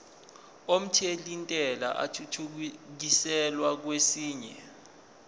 omthelintela athuthukiselwa kwesinye